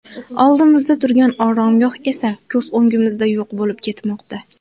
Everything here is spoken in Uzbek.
Oldimizda turgan oromgoh esa ko‘z o‘ngimizda yo‘q bo‘lib ketmoqda.